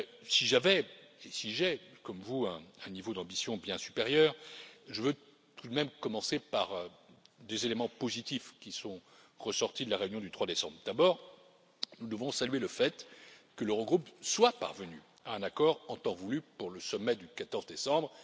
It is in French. Si j'avais, et si j'ai, comme vous un niveau d'ambition bien supérieur, je veux tout de même commencer par des éléments positifs qui sont ressortis de la réunion du 3 décembre. D'abord, nous devons saluer le fait que l'Eurogroupe soit parvenu à un accord en temps voulu pour le sommet du 14 décembre.